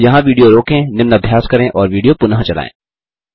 यहाँ विडियो रोकें निम्न अभ्यास करें और विडियो पुनः चलायें